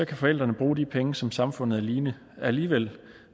kan forældrene bruge de penge som samfundet alligevel